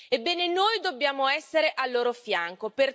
Ebbene, noi dobbiamo essere al loro fianco.